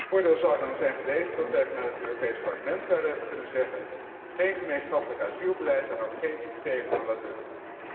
Voordeel zou dan zijn geweest dat wij vanuit het Europees Parlement zouden hebben kunnen zeggen geen gemeenschappelijk asielbeleid en ook geen systeem à la Dublin.